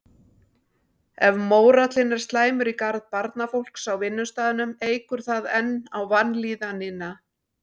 Ef mórallinn er slæmur í garð barnafólks á vinnustaðnum eykur það enn á vanlíðanina.